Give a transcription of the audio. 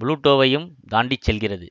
புளூட்டோவையும் தாண்டி செல்கிறது